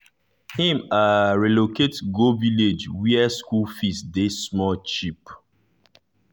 him um relocate go village where school fees dey small cheap.